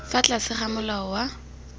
fa tlase ga molao wa